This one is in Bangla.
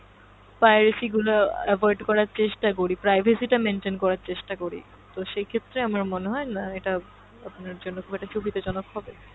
piracy গুলো avoid করার চেষ্টা করি, privacy টা maintain করার চেষ্টা করি, তো সেক্ষেত্রে আমার মনে হয়না এটা আপনার জন্য খুব একটা সুবিধাজনক হবে।